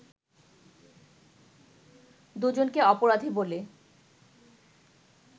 দু'জনকে অপরাধী বলে